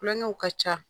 Kulonkɛw ka ca